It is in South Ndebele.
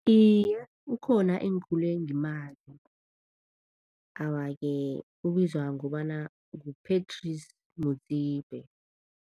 Iye, ukhona engikhule ngimazi, awa-ke ubizwa ngobana ngu-Patrice Motsepe.